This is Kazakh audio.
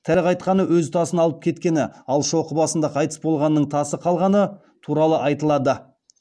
тірі қайтқаны өз тасын алып кеткені ал шоқы басында қайтыс болғанының тасы қалғаны туралы айтылады